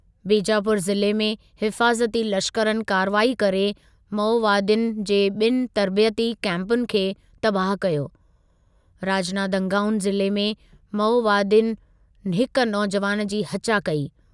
बीजापुर जिले में हिफ़ाज़ती लश्करनि कार्रवाई करे माओवादियुनि जे ॿिनि तर्बितयी कैपुनि खे तबाह कयो, राजनांदगांऊ ज़िले में माओवादियुनि हिकु नौजुवानि जी हचा कई।